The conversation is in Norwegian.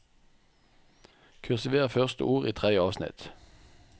Kursiver første ord i tredje avsnitt